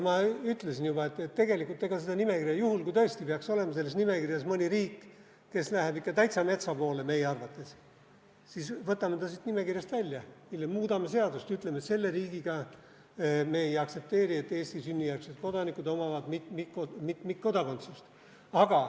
Ma ütlesin juba, et juhul, kui tõesti peaks olema selles nimekirjas mõni riik, mis läheb ikka meie arvates täitsa metsa poole, siis võtame selle siit nimekirjast välja ja muudame seadust, ütleme, et selle riigiga me ei aktsepteeri Eesti sünnijärgsete kodanike mitmikkodakondsust.